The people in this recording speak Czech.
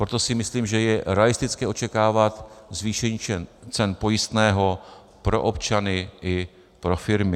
Proto si myslím, že je realistické očekávat zvýšení cen pojistného pro občany i pro firmy.